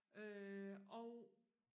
øh og